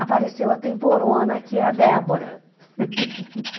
apareceu a temporona, que é a Débora.